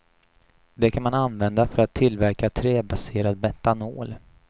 Det kan man använda för att tillverka träbaserad metanol.